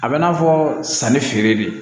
A bɛ i n'a fɔ sanni feere de